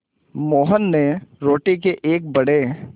मोहन ने रोटी के एक बड़े